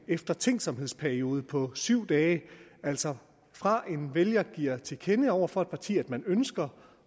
eftertænksomhedsperiode på syv dage altså fra en vælger giver til kende over for et parti at man ønsker